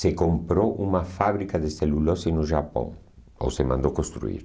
se comprou uma fábrica de celulose no Japão, ou se mandou construir.